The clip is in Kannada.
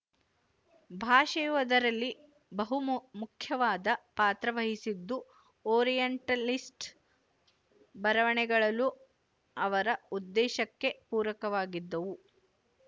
ಭಾಷೆಯು ಅದರಲ್ಲಿ ಬಹುಮು ಮುಖ್ಯವಾದ ಪಾತ್ರವಹಿಸಿದ್ದು ಓರಿಯೆಂಟಲಿಸ್ಟ್ ಬರವಣೆಗಳಲ್ಲೂ ಅವರ ಉದ್ದೇಶಕ್ಕೆ ಪೂರಕವಾಗಿದ್ದವು